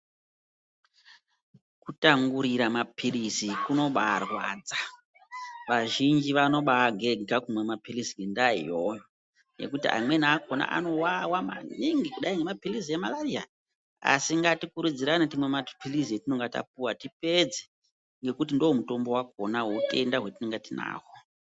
Kutangurira maphirizi kunobaarwadza, vazhinji vanobaa gega kumwa maphirizi ngendaa iyoyo, nekuti amweni akona anowawa maningi, kudayi ngemaphirizi emalariya, asi ngati kurudzirane timwe maphirizi atinonga tapuwa tipedze, ngekuti ndomutombo wakona weutenda hwatinenge tinahwo.